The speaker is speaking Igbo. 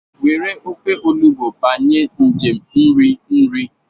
Were ofe Olugbu banye njem nri nri.